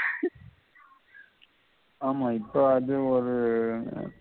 ஆமா இப்ப அது ஒரு எர்